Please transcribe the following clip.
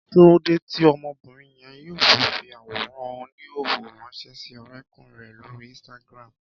Kí lóde tí ọmọbìnrin yẹn yóò fi fi àwòrán oníhòòhò ránṣẹ́ sí ọrẹ́kùnrin rẹ̀ lórí Instagram